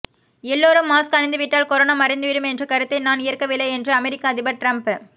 எல்லோரும் மாஸ்க் அணிந்துவிட்டால் கொரோனா மறைந்துவிடும் என்ற கருத்தை நான் ஏற்கவில்லை என்று அமெரிக்க அதிபர் டிரம்ப்